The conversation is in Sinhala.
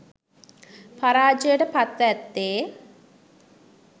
පරාජයට පත්ව ඇත්තේ